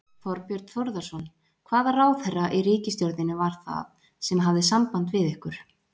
Þorbjörn Þórðarson: Hvaða ráðherra í ríkisstjórninni var það sem hafði samband við ykkur?